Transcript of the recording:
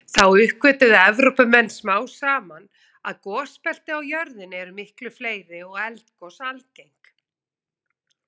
Þá uppgötvuðu Evrópumenn smám saman að gosbelti á jörðinni eru miklu fleiri og eldgos algeng.